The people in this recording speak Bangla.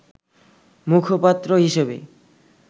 মুখপাত্র হিসেবে